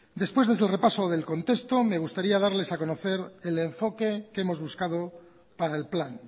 después de este repaso del contexto me gustaría darles a conocer el enfoque que hemos buscado para el plan